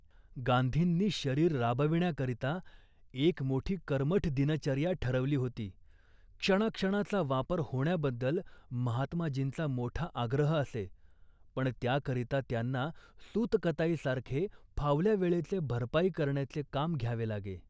गांधींनी शरीर राबविण्याकरितां एक मोठी कर्मठ दिनचर्या ठरवली होती. क्षणाक्षणाचा वापर होण्याबद्दल महात्माजींचा मोठा आग्रह असे, पण त्याकरिता त्यांना सूतकताईसारखे, फावल्या वेळेची भरपाई करण्याचे काम घ्यावे लागे